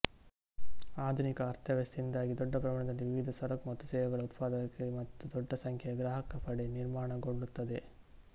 ಆಧುನಿಕ ಅರ್ಥವ್ಯವಸ್ಥೆಯಿಂದಾಗಿ ದೊಡ್ಡ ಪ್ರಮಾಣದಲ್ಲಿ ವಿವಿಧ ಸರಕು ಮತ್ತು ಸೇವೆಗಳ ಉತ್ಪಾದಕರಿಗೆ ಮತ್ತು ದೊಡ್ಡ ಸಂಖ್ಯೆಯ ಗ್ರಾಹಕರಪಡೆ ನಿರ್ಮಾಣಗೊಳ್ಳುತ್ತದೆ